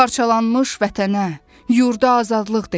Parçalanmış vətənə, yurda azadlıq dedim.